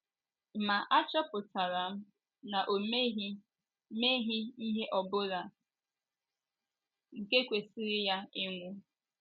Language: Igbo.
Ma achọpụtara m na o meghị meghị ihe ọ bụla nke kwesịrị ya ịnwụ.